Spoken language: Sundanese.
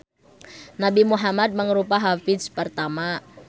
Nabi Muhammad mangrupa hafiz pertama.